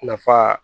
Nafa